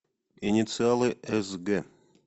инициалы эс гэ